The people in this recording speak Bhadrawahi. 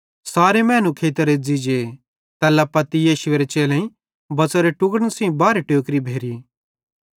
सारे मैनू खेइतां रेज़्ज़ी जे तैल्ला पत्ती यीशुएरे चेलेईं बच़ोरे टुक्ड़न सेइं बारहे टोकरी भेरी